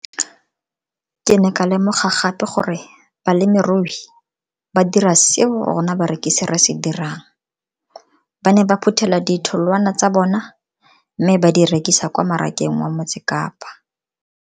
Ke ne ka lemoga gape gore balemirui ba dira seo rona barekisi re se dirang ba ne ba phuthela ditholwana tsa bona mme ba di rekisa kwa marakeng wa Motsekapa.